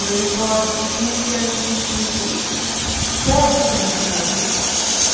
E eu recordo, assim, que a gente... Todos conheciam a gente.